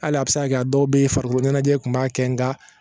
Hali a bɛ se ka kɛ a dɔw bɛ yen farikolo ɲɛnajɛ kun b'a kɛ nka